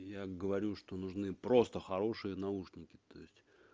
я говорю что нужны просто хорошие наушники то есть